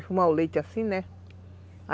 Defumar o leite assim, né?